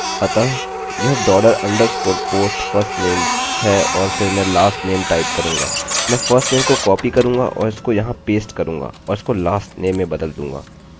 अतः यह dollar underscore post firstname है और फिर मैं lastname टाइप करूँगा